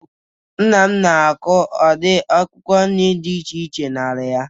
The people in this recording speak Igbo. Nna m na-akụ ụdị akwụkwọ nri dị iche iche n'ala ya